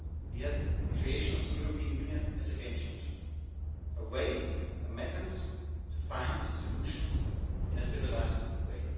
we had the creation of the European Union as a game-changer a way, a mechanism, to find solutions in a civilised